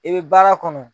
I bɛ baara kɔnɔ